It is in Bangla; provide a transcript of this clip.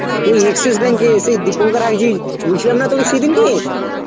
ওই Axis bank এ সেই দীপঙ্কর হাইজি বলছিলাম না তোকে সেদিনকে.